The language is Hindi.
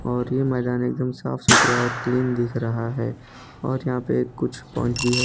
और यह मैदान एकदम साफ सुधरा और क्लीन दिख रहा है और यहां पे कुछ पॉइंट भी है।